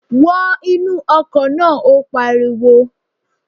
Wọ inú ọkọ̀ náà! Ó pariwo.